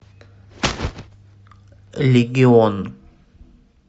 легион